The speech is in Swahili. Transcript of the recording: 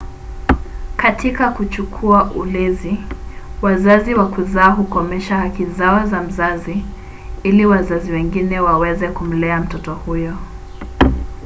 katika kuchukua ulezi wazazi wa kuzaa hukomesha haki zao za mzazi ili wazazi wengine waweze kumlea mtoto huyo